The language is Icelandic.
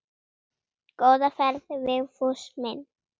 Góða ferð Vigfús minn.